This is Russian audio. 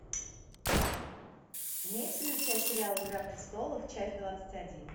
имеется ли у тебя сериал игра престолов часть двадцать один